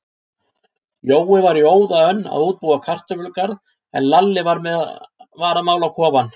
Jói var í óða önn að útbúa kartöflugarð, en Lalli var að mála kofann.